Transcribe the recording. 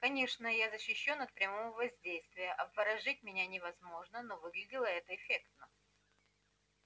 конечно я защищён от прямого воздействия обворожить меня невозможно но выглядело это эффектно